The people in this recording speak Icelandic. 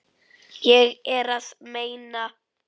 Ég er að meina.